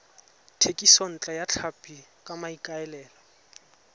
thekisontle ya tlhapi ka maikaelelo